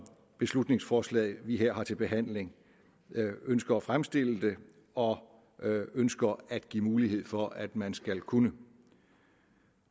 beslutningsforslaget vi her har til behandling ønsker at fremstille det og ønsker at give mulighed for at man skal kunne